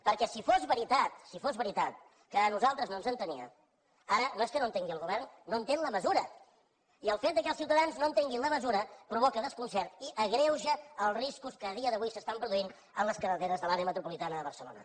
perquè si fos veritat si fos veritat que a nosaltres no ens entenia ara no és que no entengui el govern no entén la mesura i el fet que els ciutadans no entenguin la mesura provoca desconcert i agreuja els riscos que a dia d’avui s’estan produint a les carreteres de l’àrea metropolitana de barcelona